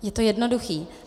Je to jednoduché.